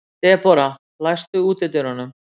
Debora, læstu útidyrunum.